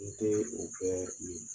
N tɛ o bɛɛ ye.